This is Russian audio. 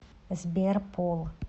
сбер пол